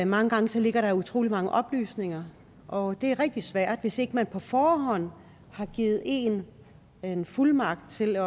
mange gange ligger der utrolig mange oplysninger og det er rigtig svært hvis ikke man på forhånd har givet en en fuldmagt til at